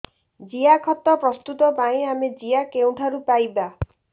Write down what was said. ଜିଆଖତ ପ୍ରସ୍ତୁତ ପାଇଁ ଆମେ ଜିଆ କେଉଁଠାରୁ ପାଈବା